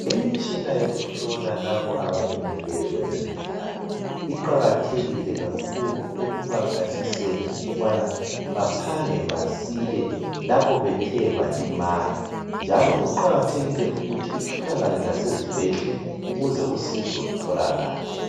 Imitshina yokuhlola labo abalimeleyo emizimbeni yabo, iqakathekile kakhulu ekubaphathiseni ukubana baphange basile lapho bethe balimala, njalo kuqakathekile ukuthi itholakale lasezibhedlela ukuze usizo lutholakale.